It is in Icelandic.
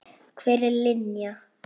Hver er Linja?